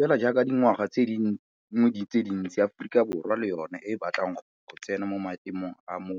Fela jaaka dingwaga tse dingwe tse dintsi, Aforika Borwa le yona e batla go tsena mo maemong a mo